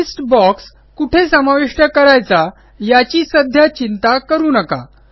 list box कुठे समाविष्ट करायचा याची सध्या चिंता करू नका